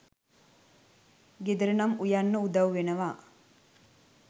ගෙදර නම් උයන්න උදව් වෙනවා